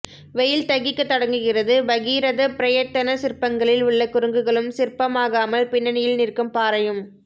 வெயில் தகிக்கத் தொடங்குகிறது பகீரதப் பிரயத்தன சிற்பங்களில் உள்ள குரங்குகளும் சிற்பமாகாமல் பின்னணியில் நிற்கும் பாறையும்